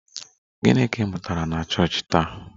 Gịnị ka ị mụtara na chọọchị taa?